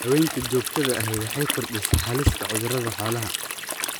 Daawaynta joogtada ahi waxay kordhisaa halista cudurrada xoolaha.